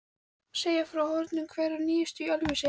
segja frá horfnum hver og nýjum í Ölfusi.